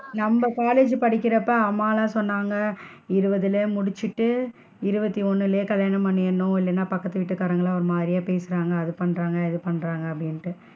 நம்ம college படிக்கிறப்ப அம்மாலா சொன்னாங்க, இருபதுல முடிச்சிட்டு இருபத்து ஒன்னுலையே கல்யாணம் பண்ணிடனும் இல்லனா பக்கத்து வீடுகாரன்கலாம் ஒரு மாதிரியா பேசுறாங்க அது பண்றாங்க இது பண்றாங்க அப்படின்ட்டு.